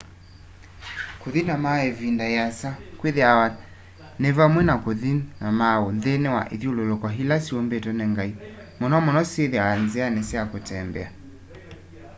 kuthi mauu ivinda iasa kwithiawa ni vamwe na kuthi mauu nthini wa ithyululuko ila syumbitwe ni ngai muno muno syithiawa nziani sya kutembea